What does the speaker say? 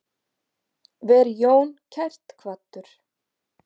Veri Jón kært kvaddur.